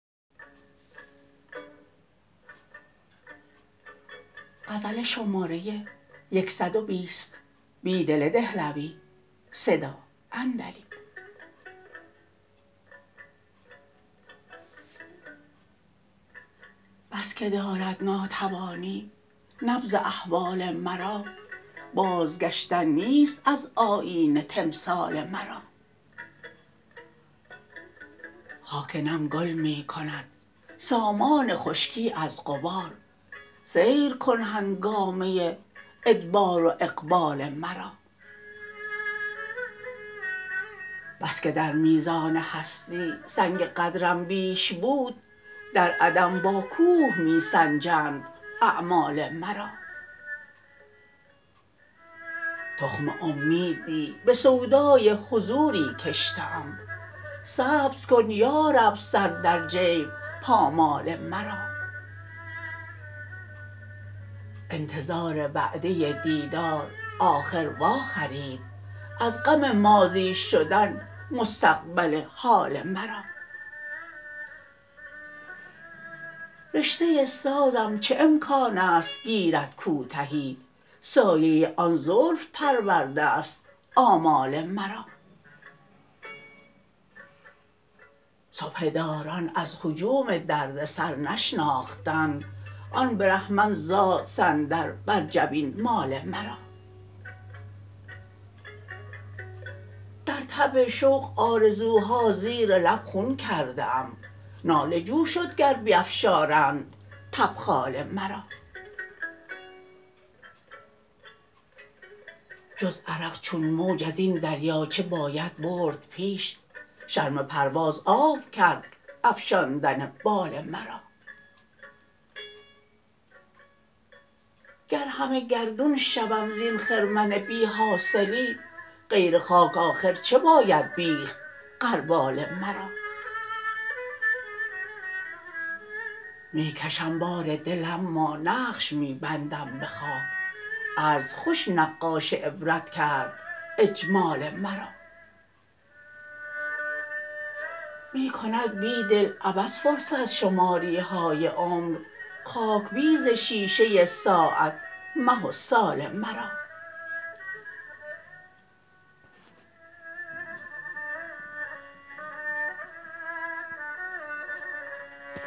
بس که دارد ناتوانی نبض احوال مرا بازگشتن نیست از آیینه تمثال مرا خاک نم گل می کندسامان خشکی از غبار سیرکن هنگامه ادبار و اقبال مرا بسکه درمیزان هستی سنگ قدرم بیش بود در عدم باکوه می سنجند اعمال مرا تخم امیدی به سودای حضوری کشته ام سبزکن یارب سر در جیب پامال مرا انتظار وعدة دیدار آخر واخرید از غم ماضی شدن مستقبل حال مرا رشته سازم چه امکانست گیردکوتهی سایه آن زلف پرورده ست آمال مرا سبحه داران از هجوم دردسر نشناختند آن برهمن زاد صندل بر جبین مال مرا درتب شوق آرزوها زیرلب خون کرده ام ناله جوشدگر بیفشارند تبخال مرا جزعرق چون موج ازین دریاچه بایدبردپیش شرم پرواز آب کرد افشاندن بال مرا گر همه گردون شوم زین خرمن بیحاصلی غیر خاک آخر چه باید بیخت غربال مرا می کشم بار دل اما نقش می بندم به خاک عجز خوش نقاش عبرت کرد جمال مرا